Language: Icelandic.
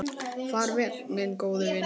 Far vel, minn góði vinur.